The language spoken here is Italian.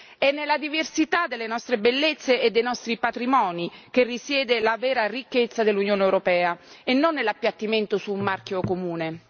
È nella diversità delle nostre bellezze e dei nostri patrimoni che risiede la vera ricchezza dell'Unione europea e non nell'appiattimento su un marchio comune.